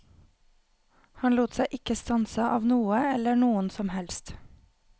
Han lot seg ikke stanse av noe eller noen som helst.